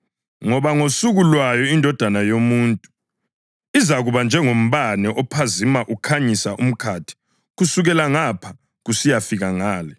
Ngoba ngosuku lwayo iNdodana yoMuntu izakuba njengombane ophazima ukhanyise umkhathi kusukela ngapha kusiyafika ngale.